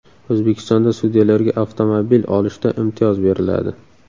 O‘zbekistonda sudyalarga avtomobil olishda imtiyoz beriladi.